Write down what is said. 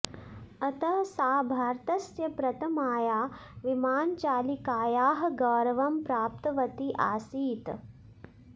अतः सा भारतस्य प्रथमायाः विमानचालिकायाः गौरवं प्राप्तवती आसीत्